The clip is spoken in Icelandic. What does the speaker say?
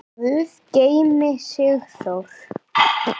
Guð geymi Sigþór.